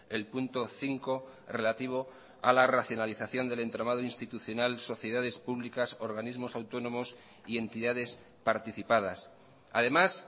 el punto cinco relativo a la racionalización del entramado institucional sociedades públicas organismos autónomos y entidades participadas además